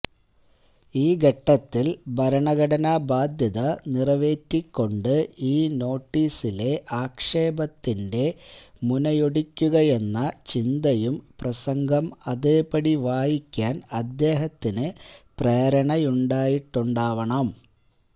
ഈ ഘട്ടത്തിൽ ഭരണഘടനാബാദ്ധ്യത നിറവേറ്റിക്കൊണ്ട് ഈ നോട്ടീസിലെ ആക്ഷേപത്തിന്റെ മുനയൊടിക്കുകയെന്ന ചിന്തയും പ്രസംഗം അതേപടി വായിക്കാൻ അദ്ദേഹത്തിന് പ്രേരണയായിട്ടുണ്ടാവണം